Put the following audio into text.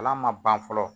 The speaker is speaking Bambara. Kalan ma ban fɔlɔ